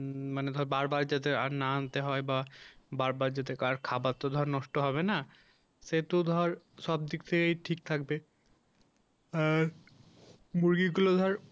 মানে ধর বারবার যাতে আর না আনতে হয় বা বারবার যদিবা খাবারটা নষ্ট হবে না যেহেতু তার সব দিক থেকেই ঠিক থাকবে আর মুরগি গুলা ধর